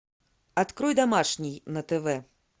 открой домашний на тв